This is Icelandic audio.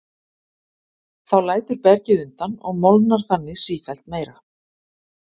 Þá lætur bergið undan og molnar þannig sífellt meira.